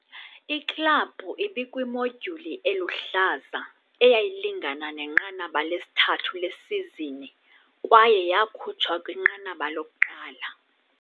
Iklabhu ibikwimodyuli eluhlaza, eyayilingana nenqanaba lesithathu lesizini, kwaye yakhutshwa kwinqanaba lokuqala.